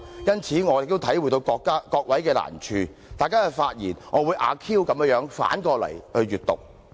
因此，我也能體諒各位的難處，大家的發言，我會"阿 Q" 地反過來聽的。